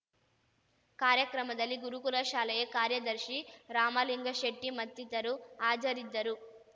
ಕಾರ್ಯಕ್ರಮದಲ್ಲಿ ಗುರುಕುಲ ಶಾಲೆಯ ಕಾರ್ಯದರ್ಶಿ ರಾಮಲಿಂಗಶೆಟ್ಟಿಮತ್ತಿತರು ಹಾಜರಿದ್ದರು